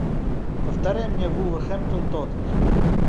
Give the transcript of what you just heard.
повторяй мне вулверхэмптон тоттенхэм